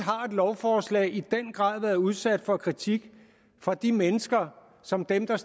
lovforslag i den grad været udsat for kritik fra de mennesker som dem der